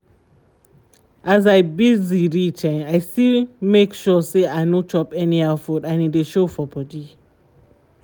as i busy reach i still make sure say i no chop anyhow food and e dey show for body